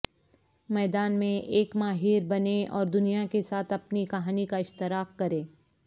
میدان میں ایک ماہر بنیں اور دنیا کے ساتھ اپنی کہانی کا اشتراک کریں